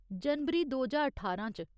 जनवरी दो ज्हार ठारां च।